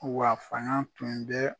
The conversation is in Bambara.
Wa fanga tun bɛ